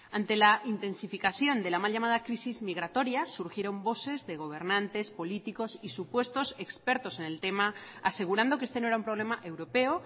ante la intensificación de la mal llamada crisis migratoria surgieron voces de gobernantes políticos y supuestos expertos en el tema asegurando que este no era un problema europeo